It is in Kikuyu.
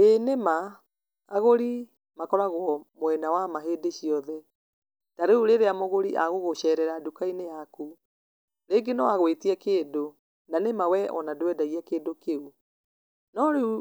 Ĩĩ nĩ ma, agũri makoragwo mwena wa ma hĩndĩ ciothe, ta rĩu rĩrĩa mũgũri agũgũcerera nduka-inĩ yaku, rĩngĩ noagwĩtie kĩndũ, na nĩma wee ona ndwendagia kĩndũ kĩu, no rĩu,